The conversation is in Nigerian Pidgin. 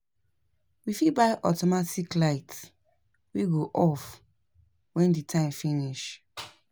We fit buy automatic light wey go off when the timer finish